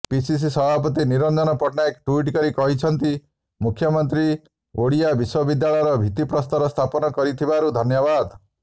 PCC ସଭାପତି ନିରଞ୍ଜନ ପଟ୍ଟନାୟକ ଟ୍ବିଟ୍ କରି କହିଛନ୍ତି ମୁଖ୍ୟମନ୍ତ୍ରୀ ଓଡ଼ିଆ ବିଶ୍ବବିଦ୍ୟାଳୟର ଭିତ୍ତିପ୍ରସ୍ତର ସ୍ଥାପନ କରିଥିବାରୁ ଧନ୍ୟବାଦ